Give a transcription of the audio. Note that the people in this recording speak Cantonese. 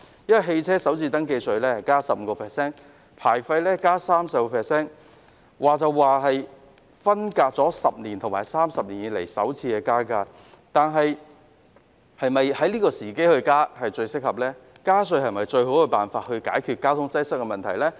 私家車首次登記稅提高 15%， 牌照費增加 30%， 雖然分別是10年來和30年來首次增加收費，但現時是否增加收費的最合適時機呢？